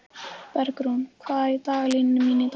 Bergrún, hvað er í dagatalinu mínu í dag?